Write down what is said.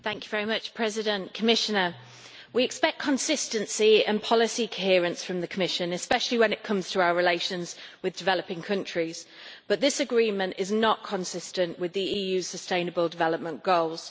Mr President, we expect consistency and policy coherence from the Commission, especially when it comes to our relations with developing countries, but this agreement is not consistent with the EU's sustainable development goals.